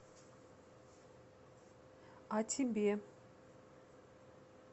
а тебе